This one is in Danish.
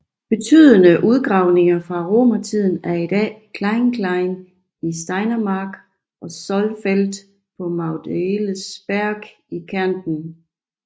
Betydende udgravninger fra romertiden er i dag Kleinklein i Steiermark og Zollfeld på Magdalensberg i Kärnten